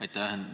Aitäh!